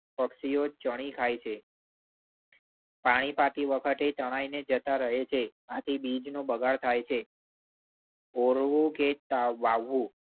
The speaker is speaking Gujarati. પક્ષીઓ ચણી ખાય છે. પાણી પાતી વખતે તણાઈને જતા રહે છે. આથી બીજનું બગાડ થાય છે. ઓરવું કે તવાવવું.